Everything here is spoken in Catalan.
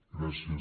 gràcies